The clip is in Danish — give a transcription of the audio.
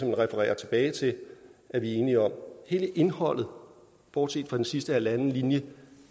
det refererer tilbage til er vi enige om hele indholdet bortset fra den sidste halvanden linje